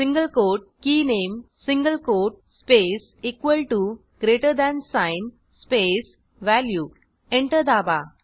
single quote के नामे single quote space equal T O greater than sign space value enter दाबा